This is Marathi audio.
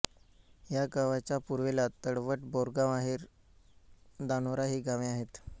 या गावाच्या पूर्वेला तळवट बोरगावआहेर धानोरा ही गावे आहेत